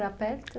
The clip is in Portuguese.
Era perto?